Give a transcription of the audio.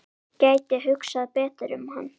Gæti hugsað betur um hann.